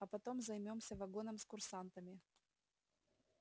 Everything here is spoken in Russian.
а потом займёмся вагоном с курсантами